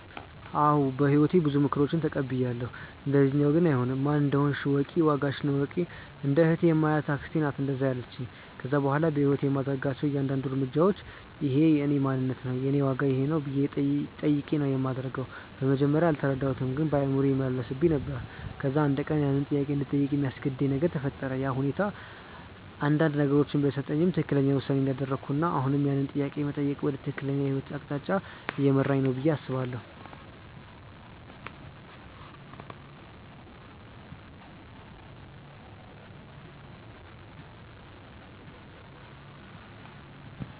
አዎ በህይወቴ ብዙ ምክሮችን ተቀብያለው፣ እንደዚኛው ግን አይሆንም። "ማን እንደሆንሽ እወቂ፣ ዋጋሽን እወቂ"። እንደ እህቴ የማያት አክስቴ ናት እንደዛ ያለቺኝ። ከዛ በኋላ በህይወቴ የማደርጋቸው እያንዳድንዱ እርምጃዎች" እኼ የእኔ ማንነት ነው? የኔ ዋጋ ይኼ ነው?" ብዬ ጠይቄ ነው ማደርገው። በመጀመርያ አልተረዳሁትም ግን በአእምሮዬ ይመላለስብኝ ነበር። ከዛ አንድ ቀን ያንን ጥያቄ እንድጠይቅ የሚያስገድድ ነገር ተፈጠረ፤ ያ ሁኔታ አንዳንድ ነገሮችን ቢያሳጣኝም ትክክለኛው ውሳኔ እንዳደረኩና አሁንም ያንን ጥያቄ መጠየቅ ወደ ትክክለኛው የህይወት አቅጣጫ እየመራኝ ነው ብዬ አስባለው።